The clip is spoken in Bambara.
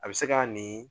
A bɛ se ka nin